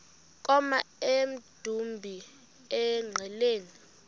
koma emdumbi engqeleni